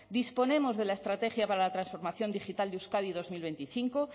disponemos de la estrategia para la transformación digital de euskadi dos mil veinticinco